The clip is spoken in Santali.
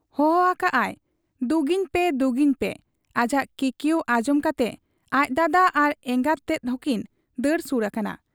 ᱦᱚᱦᱚ ᱟᱠᱟᱜ ᱟᱭ ᱫᱩᱜᱤᱧ ᱯᱮ ᱫᱩᱜᱤᱧ ᱯᱮ ᱾ ᱟᱡᱟᱜ ᱠᱤᱠᱭᱟᱹᱣ ᱟᱸᱡᱚᱢ ᱠᱟᱛᱮ ᱟᱡ ᱫᱟᱫᱟ ᱟᱨ ᱮᱸᱜᱟᱛ ᱛᱮᱫ ᱦᱚᱸᱠᱤᱱ ᱫᱟᱹᱲ ᱥᱩᱨ ᱟᱠᱟᱱᱟ ᱾